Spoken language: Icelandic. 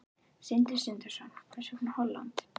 Sindri Sindrason: Hvers vegna Holland?